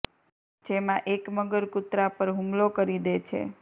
જેમાં એક મગર કુતરા પર હુમલો કરી દે છે